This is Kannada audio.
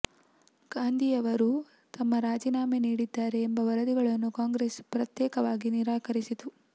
ಗಾಂಧಿಯವರು ತಮ್ಮ ರಾಜೀನಾಮೆ ನೀಡಿದ್ದಾರೆ ಎಂಬ ವರದಿಗಳನ್ನು ಕಾಂಗ್ರೆಸ್ ಪ್ರತ್ಯೇಕವಾಗಿ ನಿರಾಕರಿಸಿತು